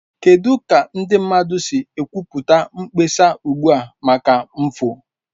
Kedu ka ndị mmadụ si ekwupụta mkpesa ugbu a maka mfu?